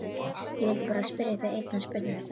Ég vildi bara spyrja þig einnar spurningar, sagði hún.